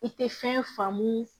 I tɛ fɛn faamu